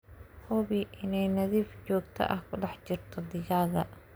Hubi in ay nadiif joogto ah ku dhex jirto digaagga.